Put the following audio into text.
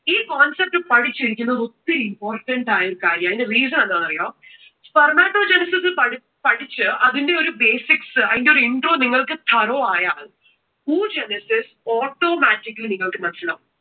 ഈ concept പഠിച്ചിരിക്കുന്നത് ഒത്തിരി important ആയിട്ടുള്ള കാര്യമാണ്. അതിന്റെ reason എന്താന്ന് അറിയുവോ? spermatogenesis പഠിച്ച്, അതിന്റെ ഒരു basics അതിന്റെ ഒരു intro നിങ്ങൾക്ക് thorough ആയാൽ oogenesis automatically നിങ്ങൾക്കു മനസിലാകും.